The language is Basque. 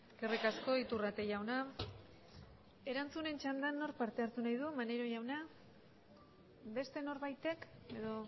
eskerrik asko iturrate jauna erantzunen txanda nork parte hartu nahi du maneiro jauna beste norbaitek edo